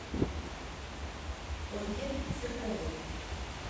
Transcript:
ольге серковой